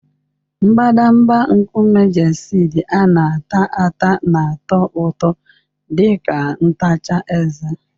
Mbadamba nkume Gestid a na-ata ata na-atọ ụtọ dị ka ntacha eze.